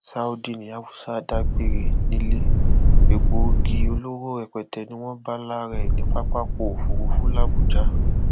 saudi ní afusa dágbére nílé egbòogi olóró rẹpẹtẹ ni wọn bá lára ẹ ní pápákọ òfurufú làbújá